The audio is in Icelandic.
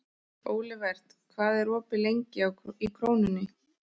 Olivert, hvað er opið lengi í Krónunni?